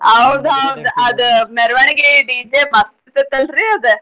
ಅದ್ ಮೇರ್ವಣಿಗೆ DJ ಮಸ್ತ್ ಇರ್ತೇತಲ್ರೀ ಅದ್.